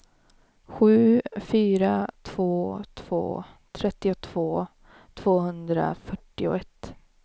sju fyra två två trettiotvå tvåhundrafyrtioett